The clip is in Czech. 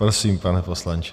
Prosím, pane poslanče.